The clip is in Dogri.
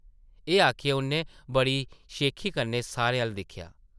एह् आखियै उʼन्नै बड़ी शेखी कन्नै सारें अʼल्ल दिक्खेआ ।